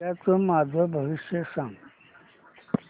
उद्याचं माझं भविष्य सांग